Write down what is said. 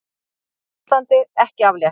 Hættuástandi ekki aflétt